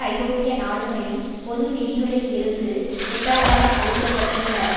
ஐரோப்பிய நாடுகளின் பொது நிதிகளில் இருந்து உத்தரவாதம் அளிக்க பட்டுள்ள